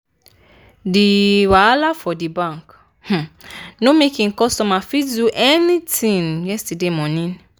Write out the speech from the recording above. di wahala for di bank no make e customers fit do any tin yesterday morning.